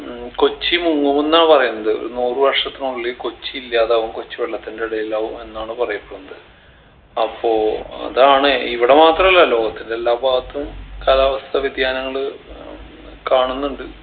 ഉം കൊച്ചി മുങ്ങു ന്നാ പറയുന്നത് ഒരു നൂറ് വർഷത്തിനുള്ളിൽ കൊച്ചി ഇല്ലാതാവും കൊച്ചി വെള്ളത്തിൻറെ അടിയിലാവും എന്നാണ് പറയപ്പെടുന്നത് അപ്പോ അതാണ് ഇവിട മാത്രല്ല ലോകത്തിൻറെ എല്ലാ ഭാഗത്തും കാലാവസ്ഥ വ്യതിയാനങ്ങള് ഏർ കാണുന്നുണ്ട്